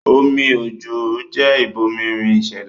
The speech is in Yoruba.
Omi òjò jẹ́ ìbomirin ìṣẹ̀dá